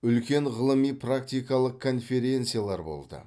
үлкен ғылыми практикалық конференциялар болды